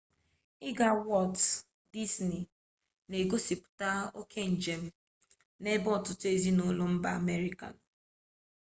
ịga wọlt dizni na-egosipụta oke njem n'ebe ọtụtụ ezinụlọ mba amerika nọ